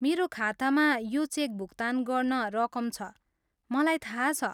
मेरो खातामा यो चेक भुकतान गर्न रकम छ, मलाई थाहा छ।